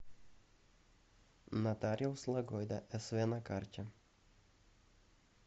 нотариус лагойда св на карте